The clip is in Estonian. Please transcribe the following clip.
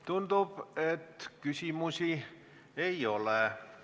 Tundub, et küsimusi ei ole.